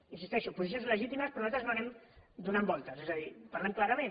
hi insisteixo posicions legítimes però nosaltres no anem donant voltes és a dir parlem clarament